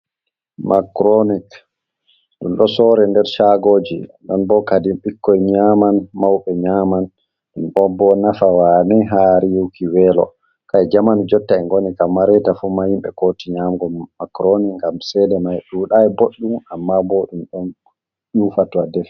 macroonic, ɗum ɗo soore nder shaagooji, ɗon boo kadin bikkoi nyaman, mawɓe nyaman, ɗom ɗo o boo nafa waane ha riiwuki weelo, kai jaman jotta en ngoni kam maa reeta fu maa himɓe kooti nyamugo macronik ngam cheede mai ɗuuɗaay boɗɗum amma boɗum ɗon ƴuufa to a defi.